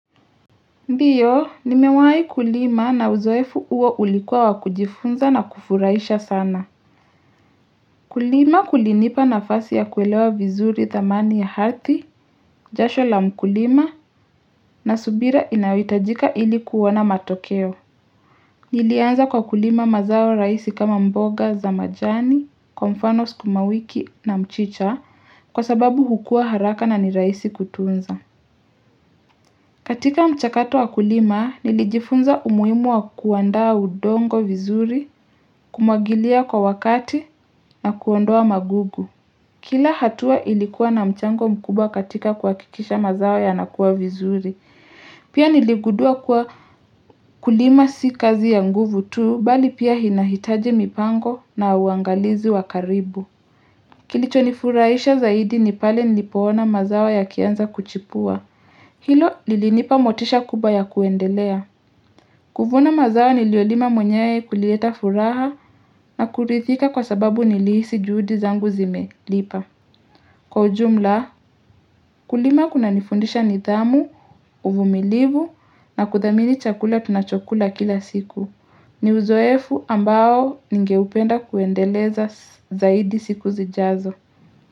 Ndio, nimewahi kulima na uzoefu huo ulikuwa wa kujifunza na kufuraisha sana. Kulima kulinipa nafasi ya kuelewa vizuri dhamani ya ardhi, jasho la mkulima, na subira inayohitajika ili kuona matokeo. Nilianza kwa kulima mazao rahisi kama mboga za majani, kwa mfano sukumawiki na mchicha kwa sababu hukua haraka na ni rahisi kutunza. Katika mchakato wa kulima, nilijifunza umuimu wa kuandaa udongo vizuri, kumwagilia kwa wakati na kuondoa magugu. Kila hatua ilikuwa na mchango mkubwa katika kuhakikisha mazao yanakuwa vizuri. Pia niligundua kuwa kulima si kazi ya nguvu tu, bali pia inahitaji mipango na uangalizi wa karibu. Kilichonifurahisha zaidi ni pale nilipoona mazao yakianza kuchipua. Hilo lilinipa motisha kubwa ya kuendelea. Kuvuna mazao niliyolima mwenyewe kulileta furaha na kuridhika kwa sababu nilihisi juhudi zangu zimelipa. Kwa ujumla, kulima kunanifundisha nidhamu, uvumilivu na kuthamini chakula tunachokula kila siku. Ni uzoefu ambao ningeupenda kuendeleza zaidi siku zijazo.